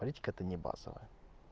политика это не базовая